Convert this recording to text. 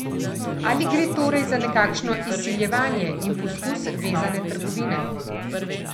Ali gre torej za nekakšno izsiljevanje in poskus vezane trgovine?